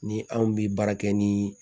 Ni anw bi baara kɛ ni